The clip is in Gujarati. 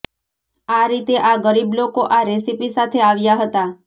આ રીતે આ ગરીબ લોકો આ રેસીપી સાથે આવ્યા હતા